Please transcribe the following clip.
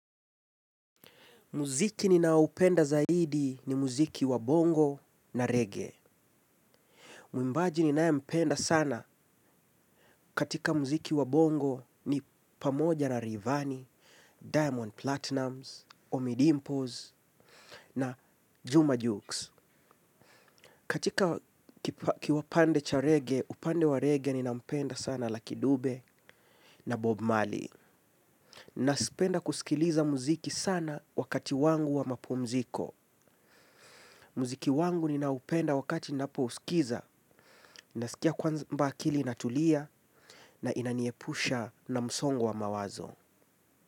Muziki ninaohupenda zaidi ni muziki wa bongo na reggae. Mwimbaji ninayempenda sana katika muziki wa bongo ni pamoja na Rayvanny, diamond platinumz, ommydimpoz na juma jux. Katika kiupande cha reggae, upande wa reggae ninampenda sana lucky dube na bob Marley. Napenda kusikiliza muziki sana wakati wangu wa mapumziko. Muziki wangu ninaupenda wakati ninapousikiza nasikia kwamba akili inatulia na inaniepusha na msongo wa mawazo.